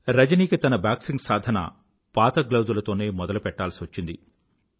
రజనికి తన బాక్సింగ్ సాధన పాత గ్లౌజులతో మొదలుపెట్టాల్సివచ్చింది